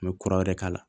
N bɛ kura wɛrɛ k'a la